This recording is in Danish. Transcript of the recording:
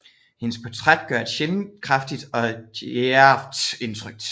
Hendes portræt gør et sjældent kraftigt og djærvt indtryk